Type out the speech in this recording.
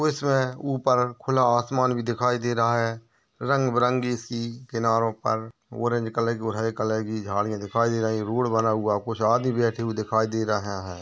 उसमे ऊपर खुला असमान भी दिखाई दे रहा है। रंग-बरंगी सी किनारों पर ऑरेंज कलय की झाड़ियाँ दिखाय दे रही है। रूढ बना हुआ कुछ आदमी बैठे हुए दिखाय दे रहा है।